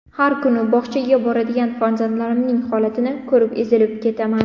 Har kuni bog‘chaga boradigan farzandlarimning holatini ko‘rib ezilib ketaman.